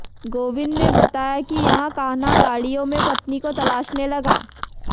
गोविंद ने बताया कि यहां कान्हा गाडिय़ों में पत्नी को तलाशने लगा